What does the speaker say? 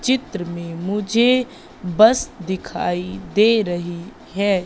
चित्र मे मुझे बस दिखाई दे रही है।